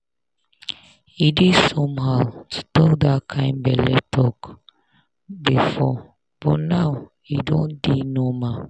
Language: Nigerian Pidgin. e dey somehow to talk that kind belle talk before but now e don dey normal.